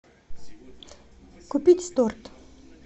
купить торт